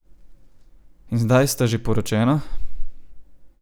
In zdaj sta že poročena?